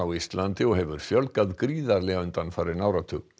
Íslandi og hefur fjölgað gríðarlega undanfarinn áratug